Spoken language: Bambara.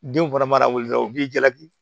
Den fana mana wuli dɔrɔn u b'i jaabi